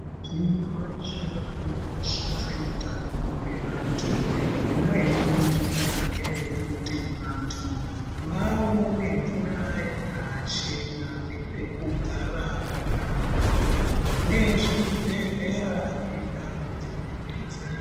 Shi reshe rinokoshese utano hwevantu imweni njira ngeyekuti vantu vaone mvura yakachena nepekugara pakanaka nezvibhedhlera nendau dzinodetse.